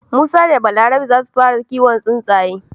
Musa da Balaraba zasu fara kiwon tsuntsaye.